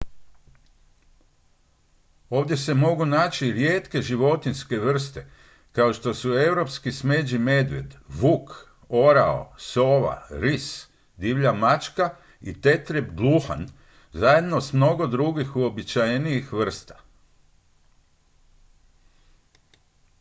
ovdje se mogu naći rijetke životinjske vrste kao što su europski smeđi medvjed vuk orao sova ris divlja mačka i tetrijeb gluhan zajedno s mnogo drugih uobičajenijih vrsta